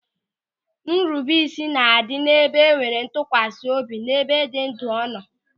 Nrubeisi na-adị n'ebe enwere ntụkwasị obi n'ebe ndị ndu nọ.